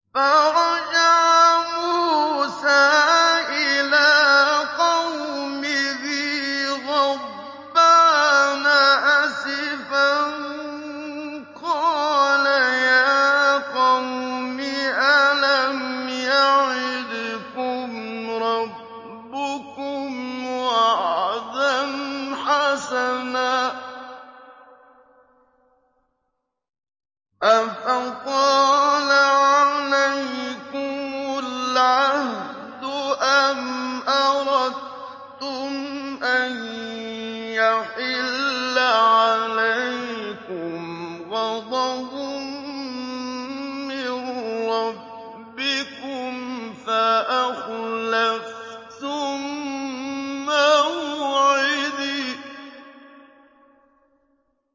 فَرَجَعَ مُوسَىٰ إِلَىٰ قَوْمِهِ غَضْبَانَ أَسِفًا ۚ قَالَ يَا قَوْمِ أَلَمْ يَعِدْكُمْ رَبُّكُمْ وَعْدًا حَسَنًا ۚ أَفَطَالَ عَلَيْكُمُ الْعَهْدُ أَمْ أَرَدتُّمْ أَن يَحِلَّ عَلَيْكُمْ غَضَبٌ مِّن رَّبِّكُمْ فَأَخْلَفْتُم مَّوْعِدِي